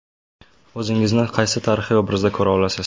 O‘zingizni qaysi tarixiy obrazda ko‘ra olasiz?